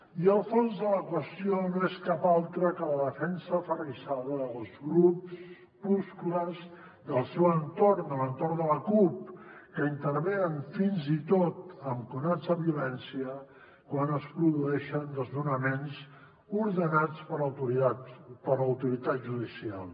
i el fons de la qüestió no és cap altre que la defensa aferrissada dels grupuscles del seu entorn l’entorn de la cup que intervenen fins i tot amb conats de violència quan es produeixen desnonaments ordenats per l’autoritat judicial